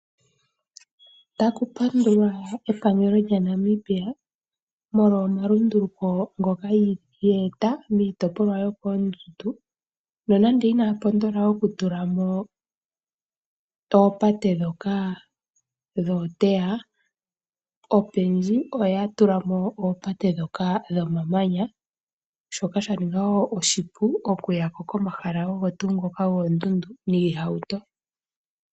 Otaku pandulwa epangelo lyaNamibia molwa omalunduluko ngoka ye eta miitopolwa yokoondundu nonande inaya pondola okutula mo oopate ndhoka dhooteya. Opendji oya tula mo oopate ndhoka dhomamanya shoka sha ninga wo oshipu okuya ko komahala ogo tuu ngoka goondundu niihauto.